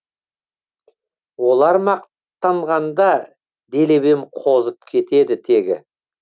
олар мақтанғанда делебем қозып кетеді тегі